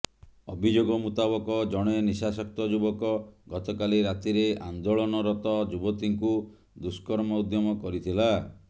ଅଭିଯୋଗ ମୁତାବକ ଜଣେ ନିଶାସକ୍ତ ଯୁବକ ଗତକାଲି ରାତିରେ ଆନ୍ଦୋଳନରତ ଯୁବତୀଙ୍କୁ ଦୁଷ୍କର୍ମ ଉଦ୍ୟମ କରିଥିଲା